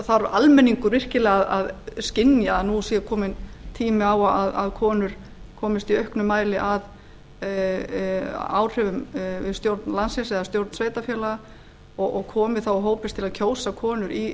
þarf almenningur virkilega að skynja að nú sé kominn tími á að konur komist í auknum mæli að áhrifum við stjórn landsins eða stjórn sveitarfélaga og komi þá og hópist til að kjósa konur